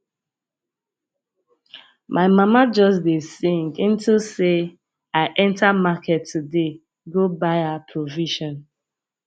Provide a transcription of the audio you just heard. my mama just dey sing into say i enter market today go buy her provision